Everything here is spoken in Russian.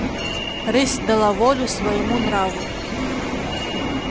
рысь дала волю своему нраву